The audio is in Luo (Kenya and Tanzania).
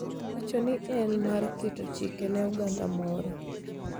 Owacho ni, ne en mar keto chike ne oganda moro